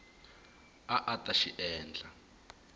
a a ta xi endla